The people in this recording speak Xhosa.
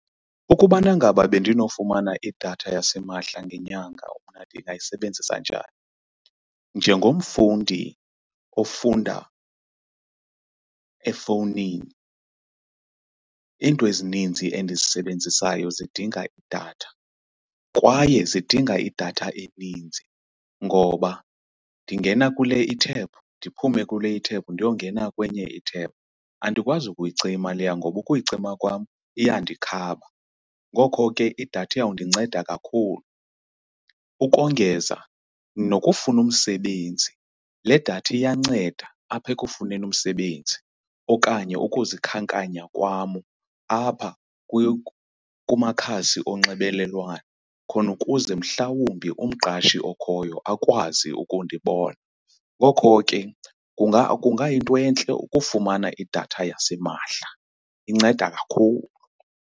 Ukubana ngaba bendinofumana idatha yasimahla ngenyanga mna ndingayisebenzisa njani? Njengomfundi ofunda efowunini into ezininzi endizisebenzisayo zidinga idatha kwaye zidinga idatha eninzi ngoba ndingena kule i-tab ndiphume kule i-tab ndiyongena kwenye i-tab. Andikwazi ukuyicima leya ngoba ukuyicima kwam iyandikhaba, ngoko ke idatha iyawundinceda kakhulu. Ukongeza nokufuna umsebenzi. Le datha iyanceda apha ekufuneni umsebenzi okanye ukuzikhankanya kwam apha kumakhasi onxibelelwano khona ukuze mhlawumbi umqashi okhoyo akwazi ukundibona. Ngoko ke kungayinto entle ukufumana idatha yasimahla, inceda kakhulu.